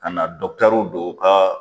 Ka na dɔkitɛriw don u ka.